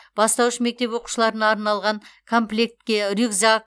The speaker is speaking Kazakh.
бастауыш мектеп оқушыларына арналған комплектке рюкзак